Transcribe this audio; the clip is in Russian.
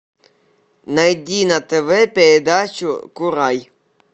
найди на тв передачу курай